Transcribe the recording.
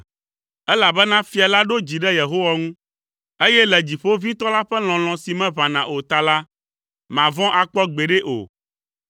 Elabena fia la ɖo dzi ɖe Yehowa ŋu, eye le Dziƒoʋĩtɔ la ƒe lɔlɔ̃ si meʋãna o ta la, mavɔ̃ akpɔ gbeɖe o.